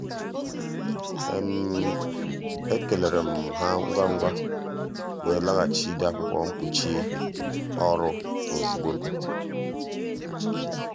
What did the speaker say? ekeleere um m ha ngwa um ngwa wee laghachi ide akwụkwọ mkpuchi um ọrụ ozugbo.